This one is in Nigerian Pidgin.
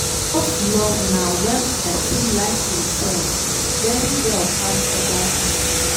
Self love nah when pesin like imself very well pass oda pipo.